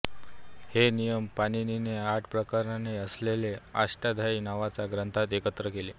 हे नियम पाणिनीने आठ प्रकरणे असलेल्या अष्टाध्यायी नावाच्या ग्रंथात एकत्र केले